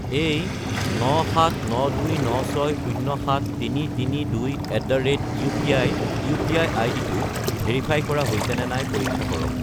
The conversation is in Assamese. এই 97929607332@upi ইউ.পি.আই. আইডিটো ভেৰিফাই কৰা হৈছেনে নাই পৰীক্ষা কৰক।